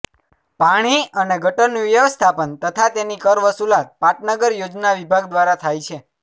પાણી અને ગટરનું વ્યવસ્થાપન તથા તેની કર વસૂલાત પાટનગર યોજના વિભાગ દ્વારા થાય છે